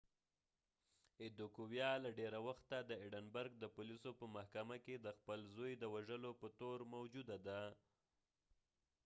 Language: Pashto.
ایدیکویا له ډیره وخته د ایډنبرګ د پولیسو په محکمه کې د خپل ځوی د وژلو په تور موجوده ده